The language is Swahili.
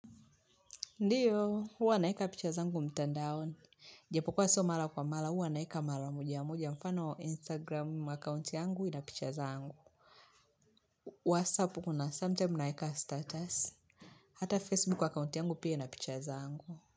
Ndiyo, huwa naeka picha zangu mtandaoni. Japo kuwa si mara kwa mara, huwa naeka mara moja moja mfano wa Instagram account yangu ina picha zangu. WhatsApp kuna sometime naeka status. Hata Facebook account yangu pia ina picha zangu.